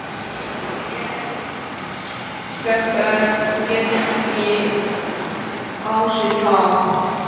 Sóla lét þetta ekki á sig fá.